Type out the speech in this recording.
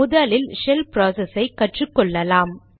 முதலில் ஷெல் ப்ராசஸை கற்றுக்கொள்ளலாம்